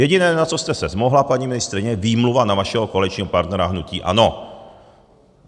Jediné, na co jste se zmohla, paní ministryně, výmluva na vašeho koaličního partnera, hnutí ANO.